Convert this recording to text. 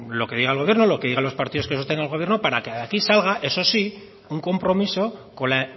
lo que diga el gobierno lo que diga los partidos que sostengan el gobierno para que de aquí salga eso sí un compromiso con la